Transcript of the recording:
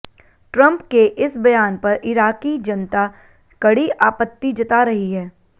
Trump के इस बयान पर इराक़ी जनता कड़ी आपत्ति जता रही है